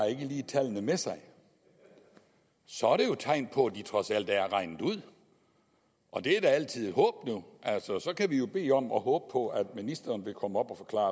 tallene med sig så er det jo tegn på at de trods alt er regnet ud og det er da altid et håb så så kan vi jo bede om og håbe på at ministeren vil komme op og forklare